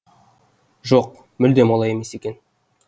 жоқ мүлдем олай емес екен